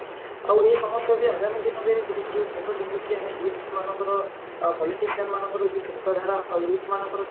ଆଉ ଏଇ ଆଗାମୀ ଦିନରେ ଗୋଟେ ଯୋଉ ମୁଣ୍ଡ ଟେକୁଛେ ଆମେ youth ମାନଙ୍କର politician ମାନଙ୍କର ଯୋଉ ଚିନ୍ତା ଧାରା ଆଉ youth ମାନଙ୍କର